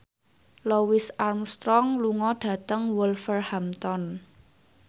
Louis Armstrong lunga dhateng Wolverhampton